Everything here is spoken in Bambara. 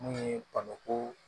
Mun ye bamakɔ